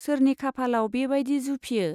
सोरनि खाफालाव बे बाइदि जुफियो !